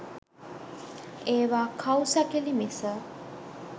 ඒවා කව් සැකිළි මිස